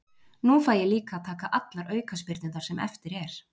Nú fæ ég líka að taka allar aukaspyrnurnar sem eftir er.